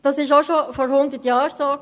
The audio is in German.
Das war auch schon vor 100 Jahren so.